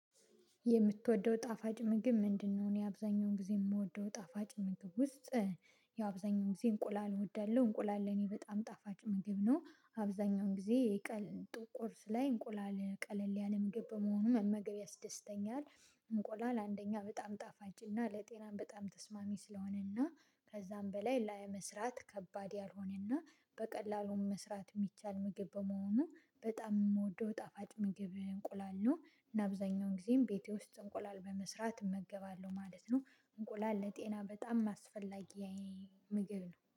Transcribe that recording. የምትወደው ጣፋጭ ምግብ ምንድነው? እኔ አብዛኛውን ጊዜ የምወደው ጣፋጭ ምግብ ውስጥ ያው አብዛኛውን ጊዜ እንቁላል እወዳለሁ እንቁላል ለኔ በጣም ጣፋጭ ምግብ ነው አብዛኛውን ጊዜ የቀን ቁርስ ላይ እንቁላል ቀለል ያለ ምግብ በመሆኑ መመገብ ያስደስተኛል። እንቁላል አንደኛ በጣም ጣፋጭና ለጤናም በጣም ተስማሚ ስለሆነና ከዛም በላይ ለመስራት ከባድ ያልሆነና በቀላሉም መስራት የሚቻል ምግብ በመሆኑ በጣም የምወደው ጣፋጭ ምግብ እንቁላል ነው እና አብዛኛውን ጊዜም ቤቴ ውስጥ እንቁላል በመስራት እመገባለሁ ማለት ነው። እንቁላል ለጤና በጣም አስፈላጊ ምግብ ነው